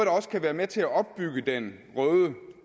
også kan være med til at opbygge den røde